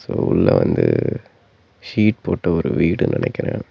உள்ள வந்து சீட் போட்டு ஒரு வீடு நினைக்கிறேன்.